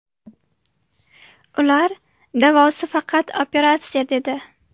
Ular davosi faqat operatsiya dedi.